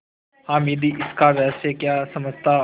हामिद इसका रहस्य क्या समझता